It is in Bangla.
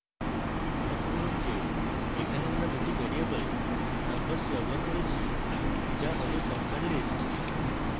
লক্ষ্য যে এখানে আমরা দুটি ভ্যারিয়েবল numbers ব্যবহার করেছি যা হল সংখ্যার list